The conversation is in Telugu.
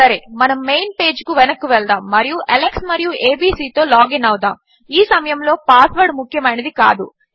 సరే మన మెయిన్ పేజ్కు వెనక్కు వెళ్దాము మరియు అలెక్స్ మరియు ఏబీసీ తో లాగిన్ అవుదాముఈ సమయములో పాస్వర్డ్ ముఖ్యమైనది కాదు